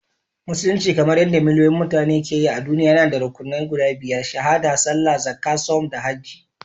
Musulunci, kamar yadda miliyoyin mutane ke yi a duniya, yana da rukunnan guda biyar—Shahaɗa, Sallah, Zakka, Sawm, da Hajji